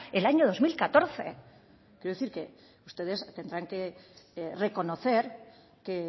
el año dos mil catorce quiero decir que ustedes tendrán que reconocer que